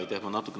Aitäh!